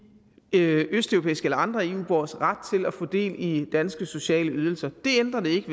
i østeuropæiske eller andre eu borgeres ret til at få del i danske sociale ydelser det ændrer det ikke